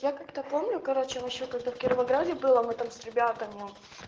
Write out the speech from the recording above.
я как-то помню короче он ещё когда в кировограде был а мы там с ребятами